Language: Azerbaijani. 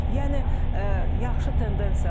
Yəni yaxşı tendensiyalar var.